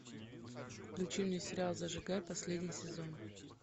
включи мне сериал зажигай последний сезон